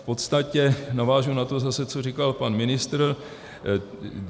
V podstatě navážu na to zase, co říkal pan ministr.